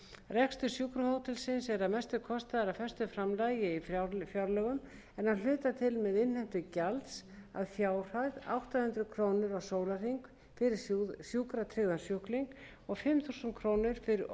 rekstur sjúkrahótelsins er að mestu kostaður af föstu framlagi í fjárlögum en að hluta til með innheimtu gjalds að fjárhæð átta hundruð krónur á sólarhring fyrir sjúkratryggða sjúklinga og fimm þúsund krónur fyrir